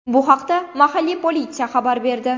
Bu haqda mahalliy politsiya xabar berdi.